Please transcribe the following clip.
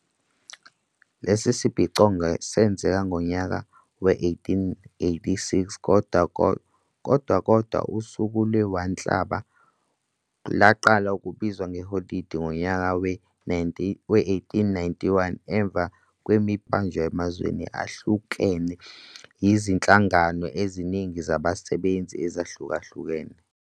lesi sibhicongo senzeka ngonyaka we-1886 kodwa kodwa usuku le-1 Nhlaba laqala ukubizwa ngeholide ngonyaka we-1891 emva kwemibhikisho eminingi eyabanjwa emazweni ahlukhlukene yizinhlangano ezinigi zabasebenzi ezahlukahlukene.